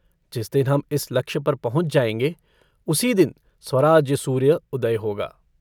जिस दिन हम इस लक्ष्य पर पहुँच जायेंगे उसी दिन स्वराज्यसूर्य उदय होगा।